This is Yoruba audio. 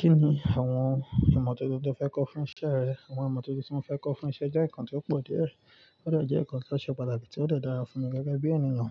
Kí ni àwọn ìmọ̀ tuntun tí o fẹ́ kọ fún isẹ́ rẹ? Àwọn ìmọ̀ tuntun tí mo fẹ́ kọ fún isẹ́ jẹ́ nǹkan tí ó pọ̀ díẹ̀. Ó de jẹ́ nǹkan tó ṣe pàtàkì tí ó de dára fún mi gẹ́gẹ́ bí ẹniyan.